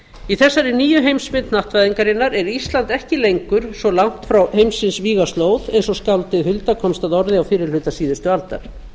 í þessari nýju heimsmynd hnattvæðingarinnar er ísland ekki lengur svo langt frá heimsins vígaslóð eins og skáldið hulda komst að orði á fyrri hluta síðustu aldar